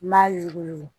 N m'a yuguyugu